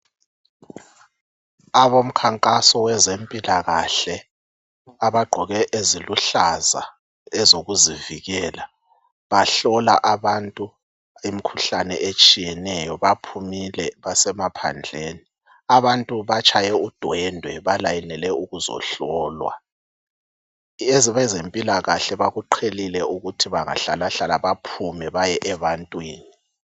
Abomkhankasi wezempilakahle abagqoke eziluhlaza ezokuzivikela bahlola abantu imkhuhlane etshiyeneyo baphumile basemaphandleni abantu batshaye udwendwe balayinele ukuzohlolwa. Abezempilakahle bakuqhelile ukuthi bengahlalahlala baphume baye ebantwini.